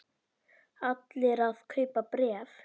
Allir að kaupa bréf